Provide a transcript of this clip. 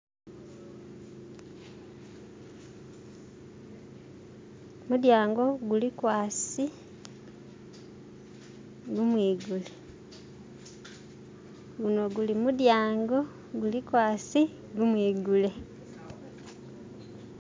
mulyango gulikwasi gumwigule eh guli mulyango gulikwasi gumwigule.